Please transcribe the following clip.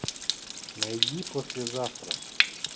найди послезавтра